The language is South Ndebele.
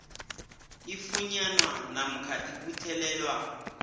ifunyanwa namkha ibuthelelwa